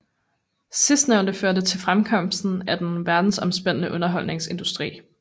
Sidstnævnte førte til fremkomsten af den verdensomspændende underholdningsindustri